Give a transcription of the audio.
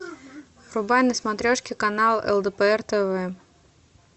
врубай на смотрешке канал лдпр тв